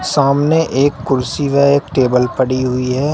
सामने एक कुर्सी है एक टेबल पड़ी हुई है।